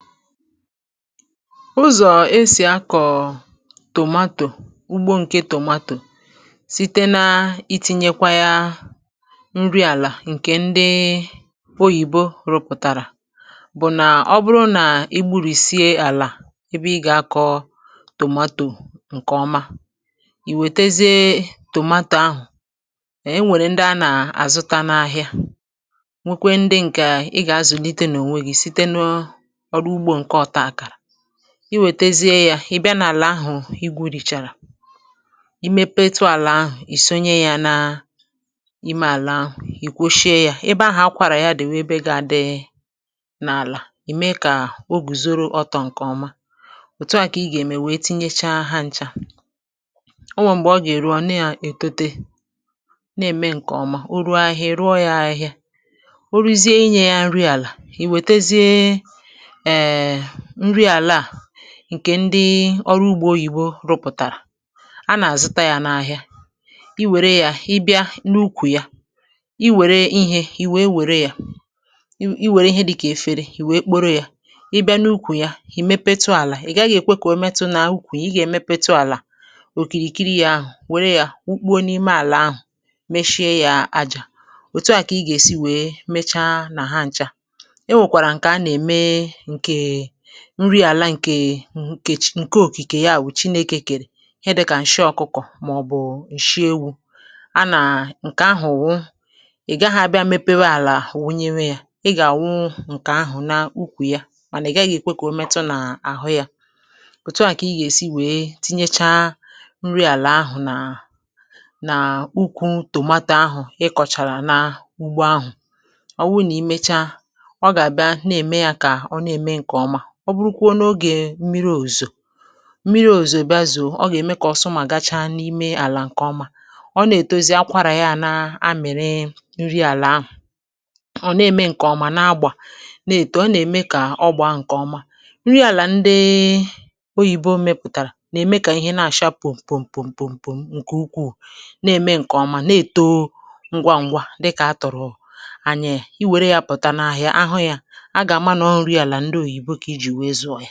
Uzọ̀ esì akọ̀ tòmatò ugbo ǹke tòmatò site na-itinye kwa ya nri àlà ǹkè ndị oyìbo rụpụ̀tàrà bụ̀ nà ọ bụrụ nà igburìsie àlà ebe ị gà-akọ tòmatò ǹkè ọma, ì wètezie tòmatò ahụ̀ e nwèrè ndị a nà-àzụta n’ahịa nwekwe ndị ǹkè ị gà-azụ̀lite n’ònwe gi site n'ọrụ ụgbọ nke otakara, i wètezie yȧ ị̀ bịa n’àlà ahụ̀ igwùrìchàrà imėpetu àlà ahụ̀ ìsonye yȧ na ime àlà ahụ̀ ìkwoshie yȧ ebe ahụ̀ akwàrà ya dị̀ bụ ebe gaa dị̇ n’àlà, ìme ya kà oguzoro ọtọ̇ ǹkè ọma, òtù a kà ị gà-ème wee tinyẹchaa ha nchȧ o nweè m̀gbè ọ gà-èru ọ̀nu ya ètote na-ème ǹkè ọ̀ma, o ruo ahịhịa ị rùo ya ahịhịa o ruzie inyė ya nri àlà, iwetezie ee nri ala a ǹkè ndi oru ugbo oyìbo rụpụ̀tàrà, a nà-àzụta ya n’ahịa, i wère ya i bịa n’ukwù ya, i wère ihė i wee wère ya i wère ihe di kà efere i wee kporo ya i bịa n’ukwù ya ì mepetu àlà ì gaghị̇ èkwe kà o metu nà úkwù ya, i gà-èmepetu àlà òkìrìkiri ya ahụ̀ wère ya wukpuo n’ime àlà ahụ̀ mechie ya ajȧ. Otù a kà i gà-èsi wee mecha nà ha ǹcha. O nwekwara ǹke ana-eme nke nri ala nke chi nke òkikè ya wù chinėkè kèrè ihe dị̇kà ǹshi ọ̀kụkọ̀ màọ̀bụ̀ ǹshi ewu̇, a nà ǹkè ahụ̀ wụ ị̀ gaghị̇ abịa mepewe àlà wunye mee ya, ị gà àwụ ǹkè ahụ̀ na ukwù ya mànà ị̀ gaghị̇ èkwe kà o metụ nà àhụ ya, òtuà kà ị gà èsi wèe tinyechaa nri àlà ahụ̀ nà nà ukwu tòmato ahụ̀ ị kọ̀chàrà na ugbo ahụ̀, ọ wụ nà i mecha ọ ga-abịa na-eme ya ka ọ na-eme nke ọma, ọ bụrụkwuo n’ogè mmiri òzuzo mmiri òzuzo bia zòo, ọ gà-ème kà ọsomàgacha n’ime àlà ǹkè ọma, ọ nà-ètozi akwarà ya na amịrị nri àlà ahụ̀ ọ̀ na-ème ǹkè ọma na-agbà na-èto ọ nà-ème kà ọgbà a ǹkè ọma, nri àlà ndị oyìbo mepụ̀tàrà nà-ème kà ihe na-àcha pụ̀m, pụ̀m, pụ̀m, pụ̀m ǹkè ukwuù na-ème ǹkè ọma na-èto ngwà ngwà dịkà aturu anyị, è iwère yȧ pụta n'ahịa ahụ yȧ ̀aga-àmà nọ nri ala ndị oyibo ka iji wee zụ ya.